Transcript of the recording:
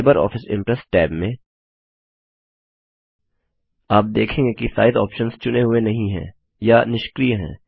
LibreOffice Impress tab में आप देखेंगे कि साइज़ ऑप्शंस चुने हुए नहीं हैं या निष्क्रिय हैं